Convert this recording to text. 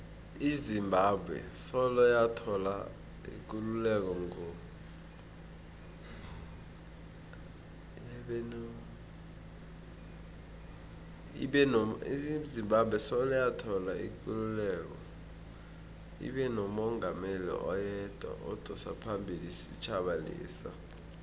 izimbabwe soloyathola ikululeko ngo ibenomungameli oyedwa odosaphambili isitjhaba lesa